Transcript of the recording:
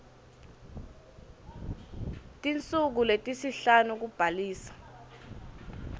tinsuku letisihlanu kubhalisa